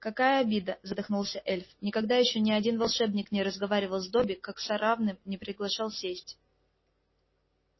какая обида задохнулся эльф никогда ещё ни один волшебник не разговаривал с добби как с равным не приглашал сесть